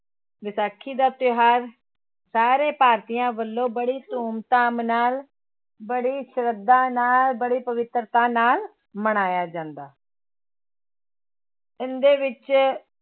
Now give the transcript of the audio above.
ਵਿਸਾਖੀ ਦਾ ਤਿਉਹਾਰ ਸਾਰੇ ਭਾਰਤੀਆਂ ਵੱਲੋਂ ਬੜੀ ਧੂਮ ਧਾਮ ਨਾਲ, ਬੜੀ ਸਰਧਾ ਨਾਲ, ਬੜੀ ਪਵਿੱਤਰਤਾ ਨਾਲ ਮਨਾਇਆ ਜਾਂਦਾ ਹੈ ਇਹਦੇ ਵਿੱਚ